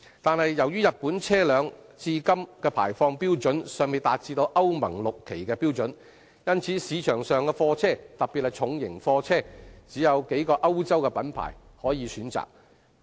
不過，由於日本車輛至今的排放標準尚未達致歐盟 VI 期的標準。因此，市場上的貨車，只有數個歐洲品牌可供選擇。